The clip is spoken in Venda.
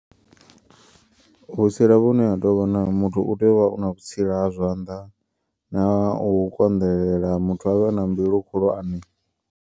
Vhutsila vhune ha tovha na muthu utea uvha una vhutsila ha zwanḓa na ha u konḓelela muthu avhe a na mbilu khulwane.